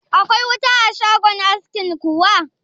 Akwai wuta a shagon askin kuwa?